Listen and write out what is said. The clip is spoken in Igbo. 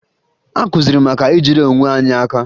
Akụziri anyị maka ijide onwe anyị aka